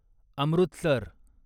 Amritsar